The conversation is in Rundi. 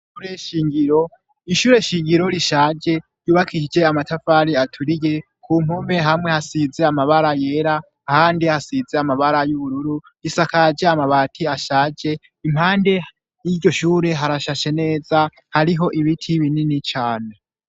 Ishure Nshingiro rishaje, ryubakisije amatafari aturiye, ku mpome hamwe hasize amabara yera, ahandi hasize amabara y'ubururu, risakaje amabati ashaje, impande y'iryo shure harashashe neza, hariho ibiti binini cane.